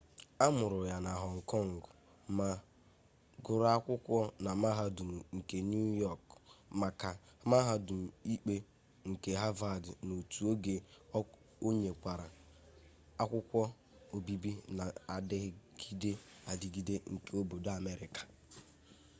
a mụrụ ya na họng kọng ma gụrụ akwụkwọ na mahadum nke niu yọk makwa mahadum ikpe nke havad n'otu oge o nwekwara akwukwo obibi na-adigide adigide nke obodo amerịka